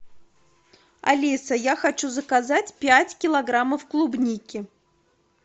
алиса я хочу заказать пять килограммов клубники